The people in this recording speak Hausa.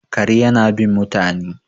kare yana bin mutane